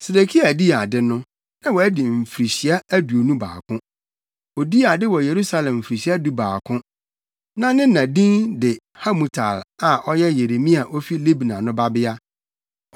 Sedekia dii ade no, na wadi mfirihyia aduonu baako. Odii ade wɔ Yerusalem mfirihyia dubaako. Na ne na din de Hamutal a ɔyɛ Yeremia a ofi Libna no babea.